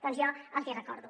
doncs jo els hi recordo